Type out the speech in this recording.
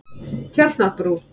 Tjarnarbrú